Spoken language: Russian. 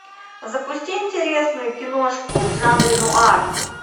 запусти интересную киношку в жанре нуар